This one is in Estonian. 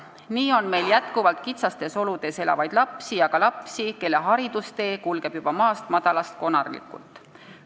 Nii on meil jätkuvalt kitsastes oludes elavaid lapsi ja ka lapsi, kelle haridustee kulgeb juba maast-madalast konarlikult.